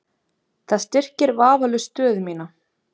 Það styrkir vafalaust stöðu mína.